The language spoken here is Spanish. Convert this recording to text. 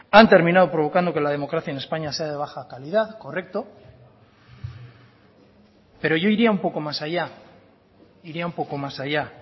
han terminado provocando que la democracia en españa sea de baja calidad correcto pero yo iría un poco más allá iría un poco más allá